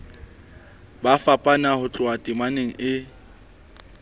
fapana ho tloha temeng e